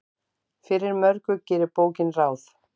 Fyrir mörgu gerir bókin ráð.